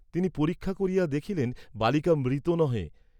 তিনি পরীক্ষা করিয়া দেখিলেন বালিকা মৃত নহে।